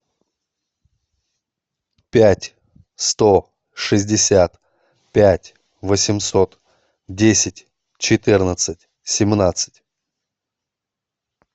пять сто шестьдесят пять восемьсот десять четырнадцать семнадцать